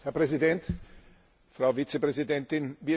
Herr Präsident, Frau Vizepräsidentin!